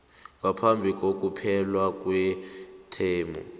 ngaphambi kokuphela kwethemu